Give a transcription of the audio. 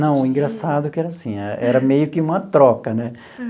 Não, o engraçado é que era assim, era meio que uma troca, né?